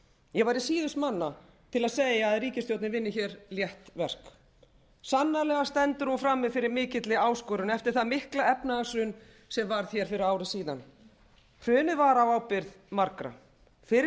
ég væri síðust manna til að segja að ríkisstjórnin vinni hér létt verk sannarlega stendur hún frammi fyrir mikilli áskorun eftir það mikla efnahagshrun sem varð hér fyrir ári síðan hrunið varð á ábyrgð margra fyrri